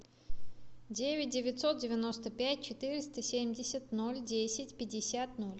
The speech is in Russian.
девять девятьсот девяносто пять четыреста семьдесят ноль десять пятьдесят ноль